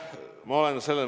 Aitäh!